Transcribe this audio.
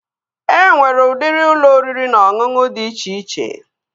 E nwere udiri ụlọ oriri na ọṅụṅụ dị iche iche